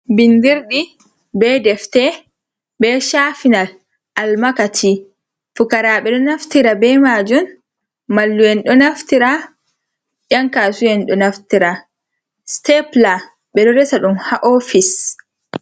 Binndirdɗi, bee defte, bee caafinal, almakaci, fukaraaɓe ɗo naftira bee maajum, mallum`en ɗo naftira, ƴankaasuwa ɗo naftira. Siteepila ɓe ɗo resa ɗum haa oofis.